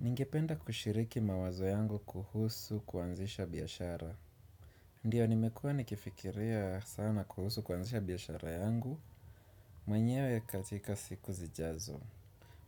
Ningependa kushiriki mawazo yangu kuhusu kuanzisha biashara. Ndiyo nimekua nikifikiria sana kuhusu kuanzisha biashara yangu mwenyewe katika siku zijazo.